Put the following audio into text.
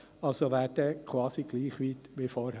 Also wäre sie dann quasi gleich weit wie vorher.